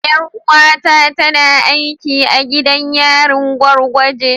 Yar’uwata tana aiki a gidan yarin gwargwage.